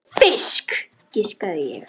Fisk, giskaði ég.